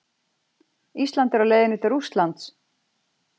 Ísland er á leiðinni til Rússlands!